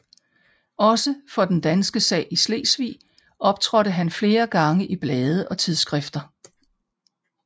Også for den danske sag i Slesvig optrådte han flere gange i blade og tidsskrifter